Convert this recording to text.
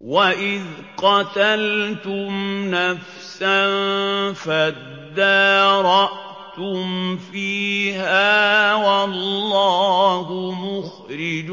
وَإِذْ قَتَلْتُمْ نَفْسًا فَادَّارَأْتُمْ فِيهَا ۖ وَاللَّهُ مُخْرِجٌ